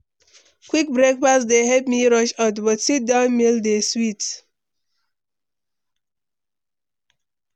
Quick breakfast dey help me rush out, but sit-down meals dey sweet.